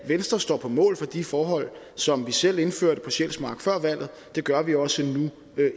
venstre står på mål for de forhold som vi selv indførte på sjælsmark før valget og det gør vi også nu